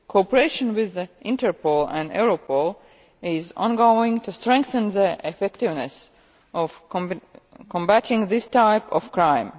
Cooperation with Interpol and Europol is on going to strengthen the effectiveness of combating this type of crime.